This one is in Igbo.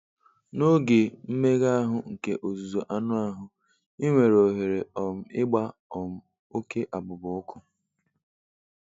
N'oge mmega ahụ nke ọzụzụ anụ ahụ, ị nwere ohere um ịgba um oke abụba ọkụ.